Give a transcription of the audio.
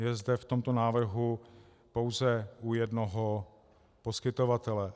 Je zde v tomto návrhu pouze u jednoho poskytovatele.